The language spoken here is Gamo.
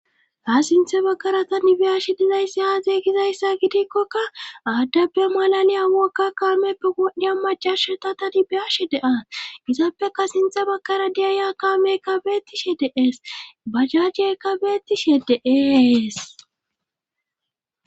ha sinthe bakara ta nibiyashe dizayssi aaze gizayssa gidikkokka aaddeppe malaliya wokka kaameppe godhiya macashata ta nibiyashe deaa izappeka sinthe bakara diya ya kaame kabeettishe deees bajjajje kabeettishe de'ees